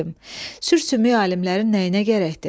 Sür-sümük alimlərin nəyinə gərəkdir?